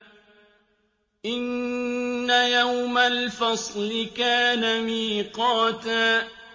إِنَّ يَوْمَ الْفَصْلِ كَانَ مِيقَاتًا